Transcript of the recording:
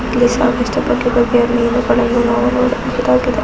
ಇಲ್ಲಿ ಸಾಕಷ್ಟು ಬಗ್ಗೆ ಬಗ್ಗೆಯ ಮೀನುಗಳನ್ನು ನಾವು ನೋಡುವಂತಾಗಿದೆ.